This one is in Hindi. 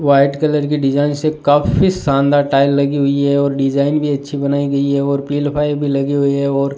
व्हाइट कलर की डिजाइन से काफी शानदार टाइल लगी हुईं हैं और डिजाइन भी अच्छी बनाई गई है और पिलफाई भी लगी हुई है और --